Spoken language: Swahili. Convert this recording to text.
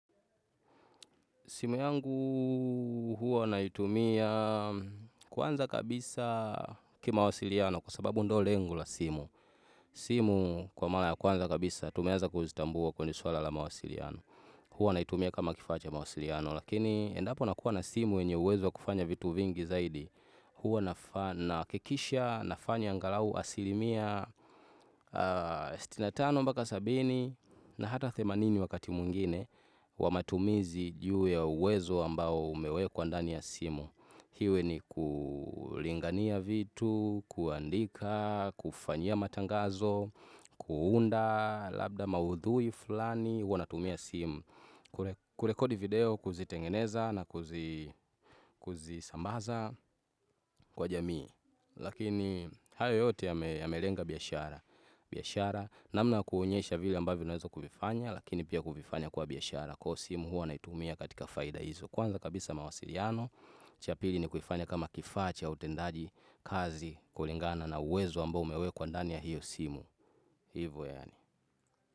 Simu yangu huwa naitumia kwanza kabisa kimawasiliano kwa sababu ndio lengo la simu. Simu kwa mara ya kwanza kabisa tumeanza kuzitambua kwenye swala la mawasiliano. Huwa naitumia kama kifaa cha mawasiliano lakini endapo nakuwa na simu yenye uwezo wa kufanya vitu vingi zaidi. Huwa nahakikisha nafanya angalau asilimia sitini na tano mpaka sabini na hata themanini wakati mwingine kwa matumizi juu ya uwezo ambao umewekwa ndani ya simu iwe ni kulingania vitu, kuandika, kufanyia matangazo, kuunda, labda maudhui fulani huwa natumia simu, kurekodi video, kuzitengeneza na kuzisambaza kwa jamii Lakini hayo yote yamelenga biashara biashara namna yakuonyesha vile ambavyo unaweza kuifanya Lakini pia kuvifanya kwa biashara Kwa hivyo simu huwa naitumia katika faida hizo Kwanza kabisa mawasiliano cha pili ni kuifanya kama kifaa cha utendaji kazi kulingana na uwezo ambao umewekwa ndani ya hiyo simu hivo yaani.